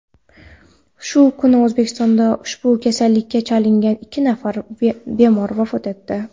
Shu kuni O‘zbekistonda ushbu kasallikka chalingan ikki nafar bemor vafot etdi.